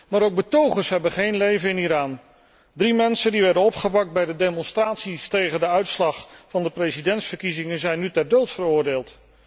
Maar ook betogers hebben geen leven in Iran. Drie mensen die werden opgepakt bij de demonstraties tegen de uitslag van de presidentsverkiezingen, zijn nu ter dood veroordeeld.